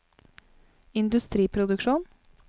industriproduksjon